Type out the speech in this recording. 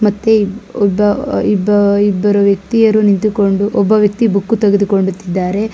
ಮತ್ತೆ ಒಬ್ಬ ಇಬ್ಬ ಇಬ್ಬರು ವ್ಯಕ್ತಿಯರು ನಿಂತುಕೊಂಡು ಒಬ್ಬ ವ್ಯಕ್ತಿ ಬುಕ್ಕು ತೆಗೆದುಕೊಂಡು ತಿದ್ದಾರೆ.